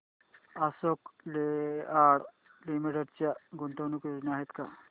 Ashok Leyland limited च्या गुंतवणूक योजना आहेत का